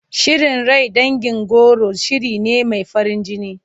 Shirin rai dangin goro shiri ne mai farin jini.